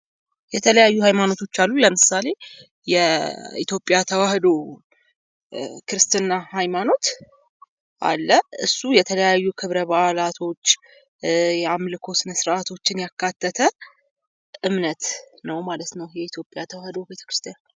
የተለያዩ ሀይማኖቶች አሉ ለምሳሌ የኢትዮጵያ ኦርቶዶክስ ተዋህዶ ሀይማኖት አለ። እሱ ሃይማኖት የተለያዩ ክብረ በዓላቶች፥ የአምልኮ ስነ ስርዓቶችን ያካተተ እምነት ነው ማለት ነው የኢትዮጵያ ተዋህዶ ቤተክርስቲያን።